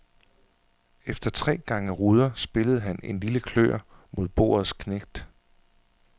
Efter tre gange ruder spillede han en lille klør mod bordets knægt.